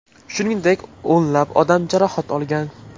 Shuningdek, o‘nlab odam jarohat olgan.